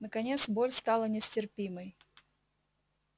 наконец боль стала нестерпимой